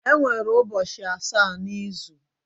Enwere ubochi asa na izu